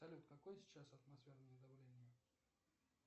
салют какое сейчас атмосферное давление